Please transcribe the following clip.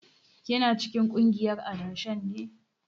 Kina cikin kungiyar adashen ne?